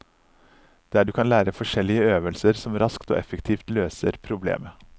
Der du kan lære forskjellige øvelser som raskt og effektivt løser problemet.